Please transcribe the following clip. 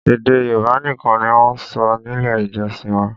Èdè Yorùbá nìkan ni wọ́n ń sọ nílé ìjọsìn wa